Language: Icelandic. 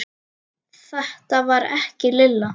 Þetta var ekki Lilla.